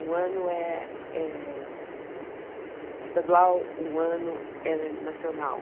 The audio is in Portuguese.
Um ano é é estadual, um ano é nacional.